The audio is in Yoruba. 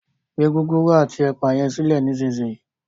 gbé Gúgúrú ati ẹpa yen silẹ nísìsiyìí!